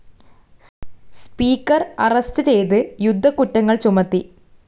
Speaker arrest ചെയ്ത് യുദ്ധക്കുറ്റങ്ങൾ ചുമത്തി.